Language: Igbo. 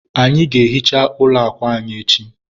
anyị ga-ehicha ụlọ akwa anyị echi